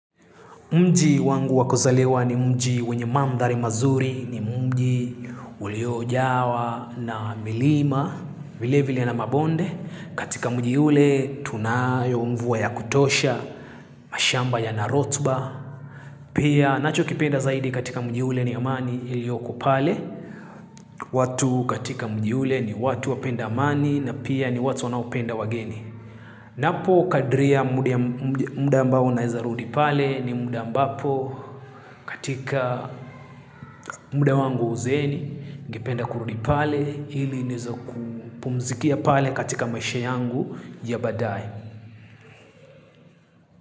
Mji wangu wakosalewa ni mji wenye mandhari mazuri ni mji uliojawa na milima vile vile na mabonde. Katika mji ule tunayo mvua ya kutosha, mashamba ya narotuba. Pia nacho kipenda zaidi katika mji ule ni amani ilioko pale. Watu katika mji ule ni watu wapenda amani na pia ni watu wanaupenda wageni. Napo kadriya muda ambao naweza rudi pale ni muda ambapo katika muda wangu uzeni, ningependa kurudi pale ili nizoku pumzikia pale katika maisha yangu ya badae.